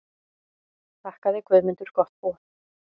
Þakkaði Guðmundur gott boð.